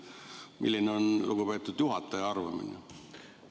Milline on lugupeetud juhataja arvamus?